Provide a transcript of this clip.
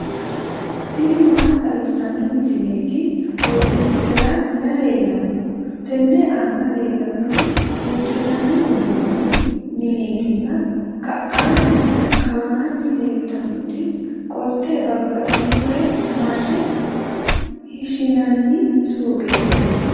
tini maa xawissanno misileeti? qooxeessisera may leellanno? tenne aana leellannori uddi'nanni uduunni mineetinna ka'aanninna kawaanni leelitannoti qolte babbaxinore marre hishinanni suuqeeti.